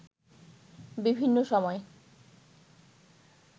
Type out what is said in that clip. বিভিন্ন সময়